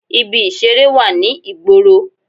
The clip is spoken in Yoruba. Ibi ìseré wà ní ìgboro